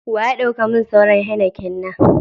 Wa ya dau ka min sauran " Heineken "na?